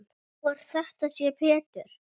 Gá hvort þetta er Pétur.